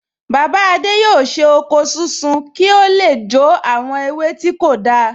Bàbá adé yóò ṣe oko sísun ki o le jó àwọn ewé tí kò dáa